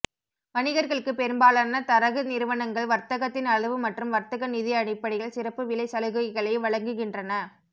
வணிகர்களுக்குப் பெரும்பாலான தரகு நிறுவனங்கள் வர்த்தகத்தின் அளவு மற்றும் வர்த்தக நிதி அடிப்படையில் சிறப்பு விலைச் சலுகைகளை வழங்குகின்றன